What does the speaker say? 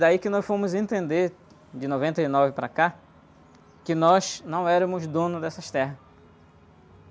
Daí que nós fomos entender, de noventa e nove para cá, que nós não éramos donos dessas terras.